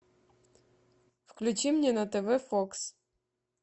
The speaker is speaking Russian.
включи мне на тв фокс